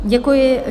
Děkuji.